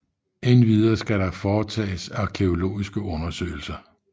Endvidere skulle der foretages arkæologiske undersøgelser